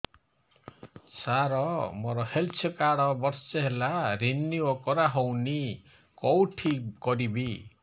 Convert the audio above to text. ସାର ମୋର health card ବର୍ଷେ ହେଲା ରିନିଓ କରା ହଉନି କଉଠି କରିବି